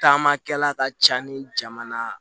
Taamakɛla ka ca ni jamana